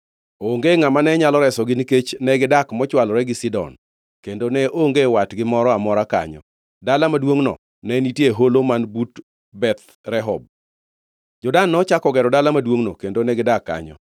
Onge ngʼama ne nyalo resogi nikech negidak mochwolore gi Sidon kendo ne onge watgi moro amora kanyo. Dala maduongʼno ne nitie e holo man but Beth Rehob. Jo-Dan nochako gero dala maduongʼno kendo negidak kanyo.